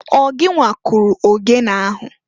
Ọ gịnwa kụrụ ogene ahụ?